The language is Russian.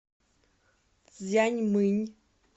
цзянмынь